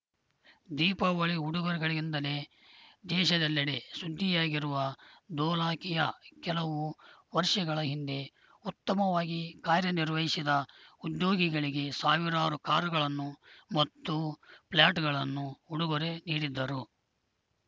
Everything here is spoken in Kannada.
ದೀಪಾವಳಿ ಉಡುಗೊರೆಗಳಿಂದಲೇ ದೇಶದೆಲ್ಲೆಡೆ ಸುದ್ದಿಯಾಗಿರುವ ಧೋಲಾಕಿಯಾ ಕೆಲವು ವರ್ಷಗಳ ಹಿಂದೆ ಉತ್ತಮವಾಗಿ ಕಾರ್ಯನಿರ್ವಹಿಸಿದ ಉದ್ಯೋಗಿಗಳಿಗೆ ಸಾವಿರಾರು ಕಾರುಗಳನ್ನು ಮತ್ತು ಫ್ಲ್ಯಾಟ್‌ಗಳನ್ನು ಉಡುಗೊರೆ ನೀಡಿದ್ದರು